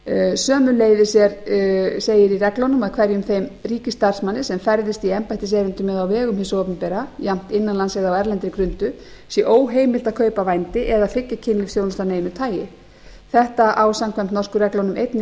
sömuleiðis segir í reglunum að hverjum þeim ríkisstarfsmanni sem ferðist í embættiserindum eða á vegum hins opinbera jafnt innan lands eða á erlendri grundu sé óheimilt að kaupa vændi eða þiggja kynlífsþjónustu af neinu tagi þetta á samkvæmt norsku reglunum einnig